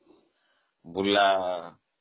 Burla